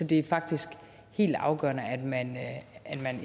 det er faktisk helt afgørende at man